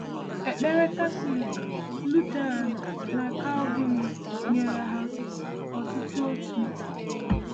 Ekpere Catholic, Lutheran, na Calvinist nyere ha otuto otu.